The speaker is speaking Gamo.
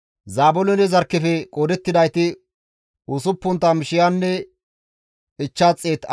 Zaabiloone zarkkefe qoodettidayti 60,500 addeta.